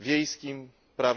wiejskim prawie